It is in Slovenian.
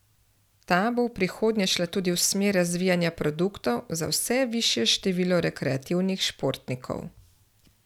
Ta bo v prihodnje šla tudi v smer razvijanja produktov za vse višje število rekreativnih športnikov.